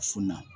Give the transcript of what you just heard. So na